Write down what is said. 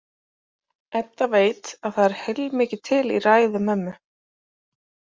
Edda veit að það er heilmikið til í ræðu mömmu.